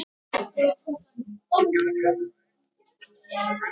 Kvaðst hann heita